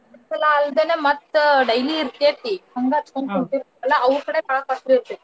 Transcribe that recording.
ಎರಡ್ ಸಲಾ ಅಲ್ದೆನೆ ಮತ್ತ್ daily ಇರ್ತೇತಿ ಹಂಗ ಹಚ್ಕೊಂಡ್ ಅಲ ಅವ್ರ್ ಕಡೆ ಬಾಳ್ costly ಇರ್ತೇತಿ.